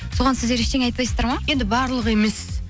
соған сіздер ештеңе айтпайсыздар ма енді барлығы емес